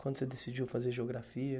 Quando você decidiu fazer geografia?